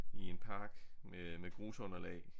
I en park med med grusunderlag